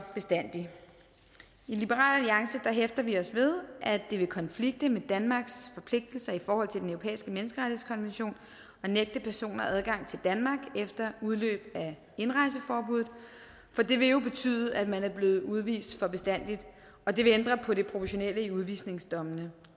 bestandig i liberal alliance hæfter vi os ved at det vil konflikte med danmarks forpligtelser i forhold til den europæiske menneskerettighedskonvention at nægte personer adgang til danmark efter udløb af indrejseforbuddet for det vil jo betyde at man er blevet udvist for bestandig og det vil ændre på det proportionelle i udvisningsdommene